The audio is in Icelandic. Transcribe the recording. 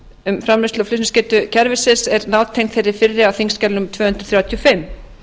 um framleiðslu og flutningsgetu kerfisins er nátengd þeirri fyrri á þingskjali númer tvö hundruð þrjátíu og fimm